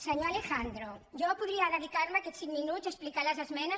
senyor alejandro jo podria dedicar me aquests cinc minuts a explicar les esmenes